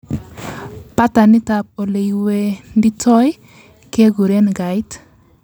patternit ab oleiwenditoi keguren gait